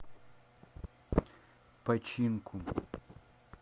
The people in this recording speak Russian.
починку